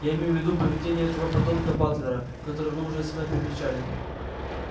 я имею в виду поведение этого подонка батлера которого вы у себя привечали